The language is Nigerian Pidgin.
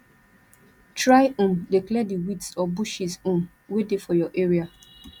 try um de clear di weeds or bushes um wey de for your area